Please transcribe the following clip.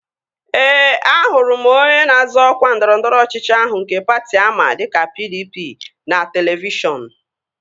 Ee, ahụrụ m onye na-azọ ọkwa ndọrọndọrọ ọchịchị ahụ nke patị ama dịka PDP n'televishọn